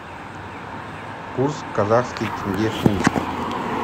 курс казахский тенге фунт